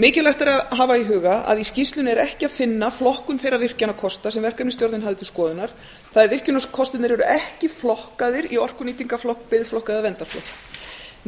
mikilvægt er að hafa í huga að í skýrslunni er ekki að finna flokkun þeirra virkjunarkosta sem verkefnisstjórnin hafði til skoðunar það er virkjunarkostirnir eru ekki flokkaðir í orkunýtingarflokk biðflokk eða verndarflokk